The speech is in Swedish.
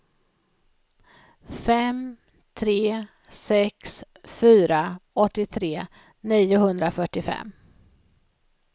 fem tre sex fyra åttiotre niohundrafyrtiofem